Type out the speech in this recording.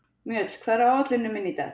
Mjöll, hvað er á áætluninni minni í dag?